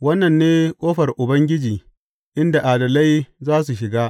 Wannan ne ƙofar Ubangiji inda adalai za su shiga.